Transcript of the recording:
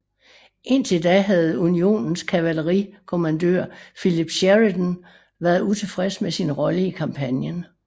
Indtil da havde Unionens kavaleri kommandør Philip Sheridan været utilfreds med sin rolle i kampagnen